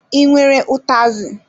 I nwere ụtazi?